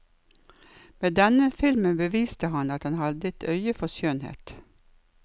Med denne filmen beviste han at han hadde et øye for skjønnhet.